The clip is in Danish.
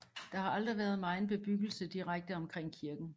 Der har aldrig været megen bebyggelse direkte omkring kirken